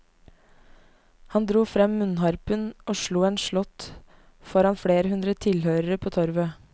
Han dro frem munnharpen og slo en slått foran flere hundre tilhørere på torvet.